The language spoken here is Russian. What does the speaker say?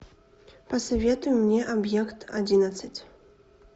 посоветуй мне объект одиннадцать